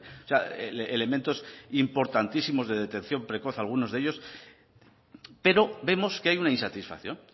o sea elementos importantísimos de detección precoz algunos de ellos pero vemos que hay una insatisfacción